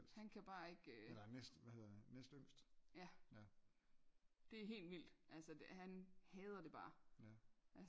Han kan bare ikke øh ja det helt vildt altså han hader det bare